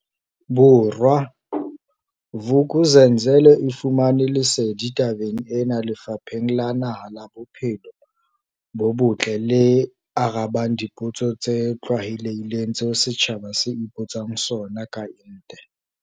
Bo rwa, Vuk'uzenzele e fumane lesedi tabeng ena Lefapheng la Naha la Bo phelo bo Botle le arabang dipotso tse tlwaelehileng tseo setjhaba se ipotsang sona ka ente.